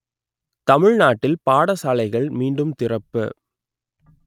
தமிழ்நாட்டில் பாடசாலைகள் மீண்டும் திறப்பு